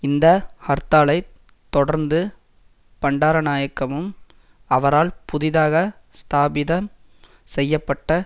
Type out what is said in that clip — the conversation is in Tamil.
இந்த ஹர்த்தாலைத் தொடர்ந்து பண்டாரநாயக்கவும் அவரால் புதிதாக ஸ்தாபிதம் செய்ய பட்ட